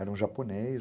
Era um japonês.